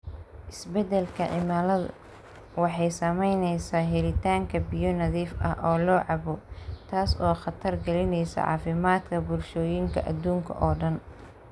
Isbeddelka cimiladu waxay saamaynaysaa helitaanka biyo nadiif ah oo la cabbo, taas oo khatar gelinaysa caafimaadka bulshooyinka adduunka oo dhan.